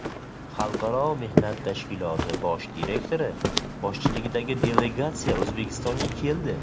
Xalqaro mehnat tashkiloti bosh direktori boshchiligidagi delegatsiya O‘zbekistonga keldi.